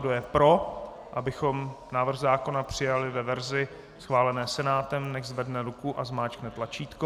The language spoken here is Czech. Kdo je pro, abychom návrh zákona přijali ve verzi schválené Senátem, nechť zvedne ruku a zmáčkne tlačítko.